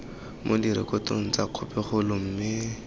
mo direkotong tsa khopikgolo mme